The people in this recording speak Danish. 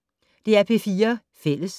DR P4 Fælles